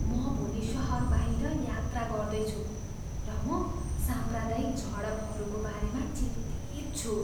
म भोलि सहर बाहिर यात्रा गर्दैछु र म साम्प्रदायिक झडपहरूको बारेमा चिन्तित छु।